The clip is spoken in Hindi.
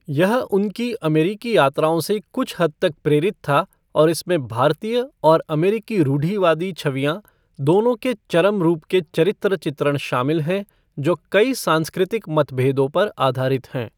यह उनकी अमेरिकी यात्राओं से कुछ हद तक प्रेरित था और इसमें भारतीय और अमेरिकी रुढ़िवादी छवियाँ दोनों के चरम रूप के चरित्र चित्रण शामिल हैं, जो कई सांस्कृतिक मतभेदों पर आधारित हैं।